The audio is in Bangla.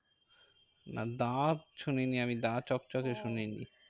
না দা শুনিনি আমি দা চকচকে শুনিনি।